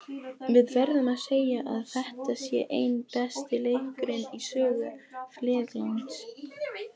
Við verðum að segja að þetta sé einn besti leikurinn í sögu félagsins.